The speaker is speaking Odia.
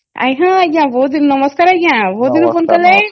ହଁ ଆଂଜ୍ଞା ନମସ୍କାର ଆଂଜ୍ଞା ବହୁତ ଦିନ ପରେ ଫୋନ କଲେ